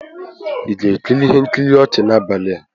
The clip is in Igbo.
Ị ga-ekiri ihe nkiri ọchị n'abalị a?